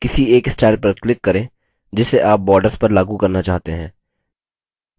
किसी एक स्टाइल पर click करें जिसे आप borders पर लागू करना चाहते हैं